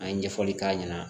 An ye ɲɛfɔli k'a ɲɛna